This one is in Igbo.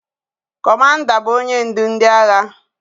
Kọmanda bụ onye ndu ndị agha